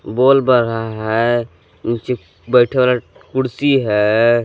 बोल बर रहा है नीचे बैठे वाला कुर्सी है।